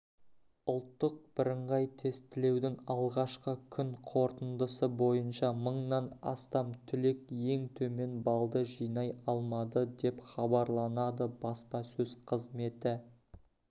ұлттық бірыңғай тестілеудің алғашқы күн қорытындысы бойынша мыңнан астам түлек ең төмен баллды жинай алмады деп хабарланады баспасөз қызметі